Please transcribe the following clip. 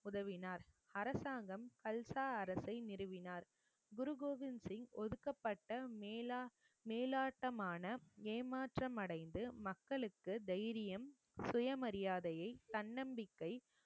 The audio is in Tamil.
உதவினார் அரசாங்கம் அல்சா அரசை நிறுவினார் குரு கோவிந்த் சிங் ஒதுக்கப்பட்ட மேலாட்டமான ஏமாற்றமடைந்து மக்களுக்கு தைரியம் சுயமரியாதையை தன்னம்பிக்கை